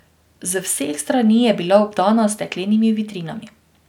Z vseh strani je bila obdana s steklenimi vitrinami.